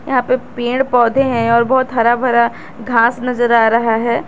यहां पे पेड़ पौधे हैं और बहुत हरा भरा घास नजर आ रहा है।